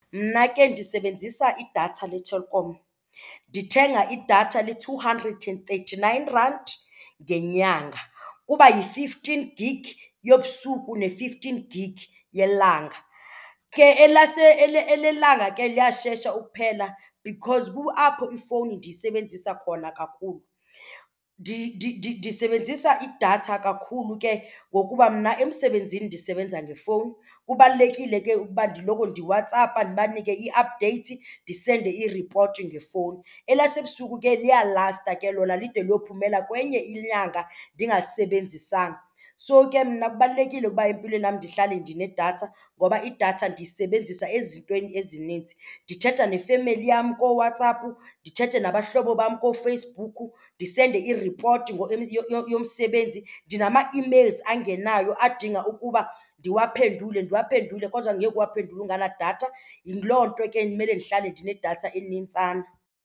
Mna ke ndisebenzisa idatha leTelkom. Ndithenga idatha le-two hundred and thirty-nine rand ngenyanga. Kuba yi-fifteen gig yobusuku ne-fifteen gig yelanga. Ke elelanga ke liyashesha ukuphela because kuapho ifowuni ndiyisebenzisa khona kakhulu. Ndisebenzisa idatha kakhulu ke ngokuba mna emsebenzini ndisebenza ngefowuni, kubalulekile ke ukuba ndiloko ndiWhatsApp-a ndibanike ii-updates ndisenze iripoti ngefowuni. Elasebusuku ke liyalasta ke lona lide liyophumela kwenye inyanga ndingalisebenzisanga. So ke mna kubalulekile ukuba empilweni yam ndihlale ndinedatha ngoba idatha ndiyisebenzisa ezintweni ezininzi. Ndithetha nefemeli yam kooWhatsApp, ndithethe nabahlobo bam kooFacebook, ndisende i-report yomsebenzi. Ndinama-emails angenayo adinga ukuba ndiwaphendule ndiwaphendule, kodwa ngeke uwaphendule ungenadatha. Yiloo nto ke ndimele ndihlale ndinedatha enintsana.